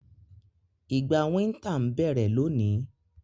Ìgbà winter n bẹ́rẹ́ loni